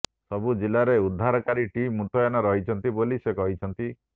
ସବୁ ଜିଲ୍ଲାରେ ଉଦ୍ଧାରକାରୀ ଟିମ୍ ମୁତୟନ ରହିଛନ୍ତି ବୋଲି ସେ କହିଛନ୍ତି